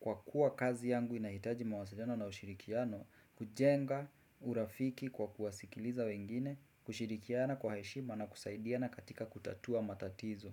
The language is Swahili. Kwa kuwa kazi yangu inahitaji mawasiliano na ushirikiano kujenga urafiki kwa kuwasikiliza wengine, kushirikiana kwa heshima na kusaidiana katika kutatua matatizo.